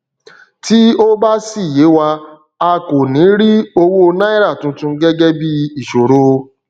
tí ó bá sì yé wa a kò ní rí owó náírà tuntun gẹgẹ bíi ìṣòro